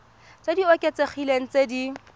tse di oketsegileng tse di